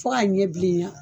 Fo k'a ɲɛ bilenya